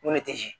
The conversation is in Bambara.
Ŋo ne tɛ zi